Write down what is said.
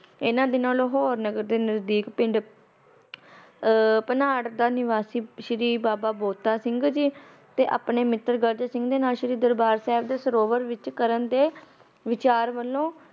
ਇਨਾ ਦਿਨਾ ਲਾਹੌਰ ਦੇ ਨਜਦੀਕ ਪਿੰਡ ਭਨਾਟ ਦਾ ਨਿਵਾਸੀ ਸ੍ਰੀ ਬਾਬਾ ਬੰਤਾ ਸਿੰਘ ਜੀ ਤੇ ਆਪਣੇ ਮਿਤਰ ਗਰਜ ਸਿੰਘ ਦੇ ਨਾਲ ਸ੍ਰੀ ਦਰਬਾਰ ਸਾਹਿਬ ਦੇ ਸਰੋਵਰ ਵਿੱਚ ਇਸ਼ਨਾਨ ਕਰਨ ਦੇ ਵਿਚਾਰ ਵੱਲੋ ਘਰ ਵੱਲੋ